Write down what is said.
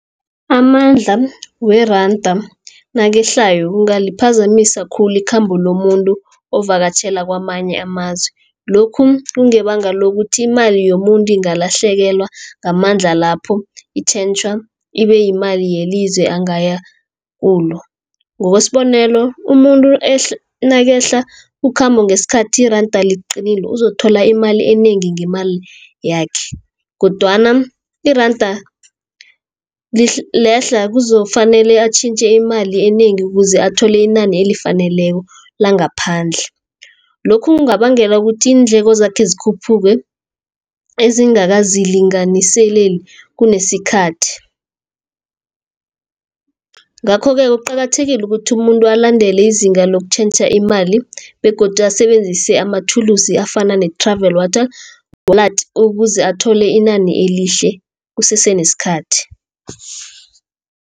Amandla weranda nakehlayo, kungaliphazamisa khulu ikhambo lomuntu ovakatjhela kamanye amazwe. Lokhu kungebanga lokuthi imali yomuntu ingalahlekelwa ngamandla lapho itjhentjhwa ibe yimali yelizwe angaya kulo, ngokwesibonelo, umuntu nakehla ukhambo ngesikhathi iranda liqinile uzokuthola imali enengi ngemali yakhe, kodwana iranda lehla kuzokufanele atjhintjhe imali enengi ukuze athole inani elifaneleko langaphandle. Lokhu kungabangela ukuthi iindleko zakhe zikhuphuke, ezingakazilinganiseleli kunesikhathi. Ngakho-ke kuqakathekile ukuthi umuntu alandele izinga lokutjhentjha imali, begodu asebenzise amathulusi afana ne-Travel Wallet, ukuze athole inani elihle kusese nesikhathi.